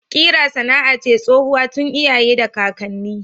Kira sana'a ce tsohuwa tun iyaye da kakanni.